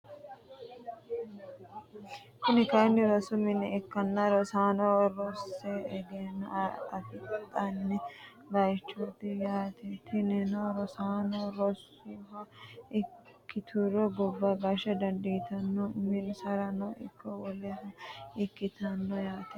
Kuni kayini rosu mine ikkanna rosaano rose egeno afidhano buichooti yaate tinino rosaano rosuha ikituro gobba gasha dandiitano uminsarano ikite wolehono ikitano yaate.